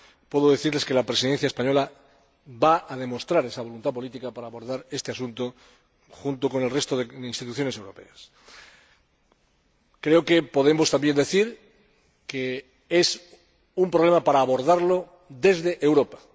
Puedo decirles que la Presidencia española va a demostrarla para abordar este asunto junto con el resto de instituciones europeas. Creo que podemos también decir que es un problema para abordarlo desde Europa.